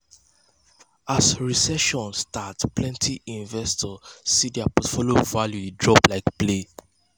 as recession start plenty investors see dir portfolio value de drop like play